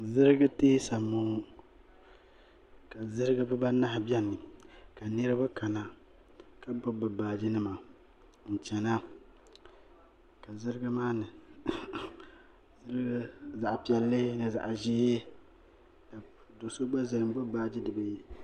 zijigi tɛɛsa n bɔ ŋɔ ka zijigi be baanahi bɛni ka niriba ka na la gbabi bɛ baaji nima n china ka ziligi maani zaɣ' piɛlli zaɣ' ʒiɛ do so gba zaya ka gbabi baaji